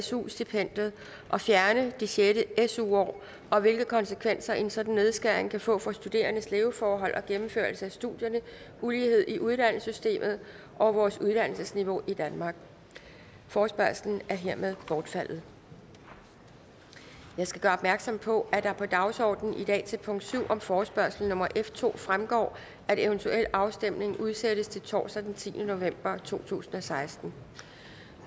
su stipendiet og fjerne det sjette su år og hvilke konsekvenser en sådan nedskæring kan få for studerendes leveforhold og gennemførelse af studierne ulighed i uddannelsessystemet og vores uddannelsesniveau i danmark forespørgslen er hermed bortfaldet jeg skal gøre opmærksom på at det på dagsordenen i dag til punkt syv om forespørgsel nummer f to fremgår at eventuel afstemning udsættes til torsdag den tiende november to tusind og seksten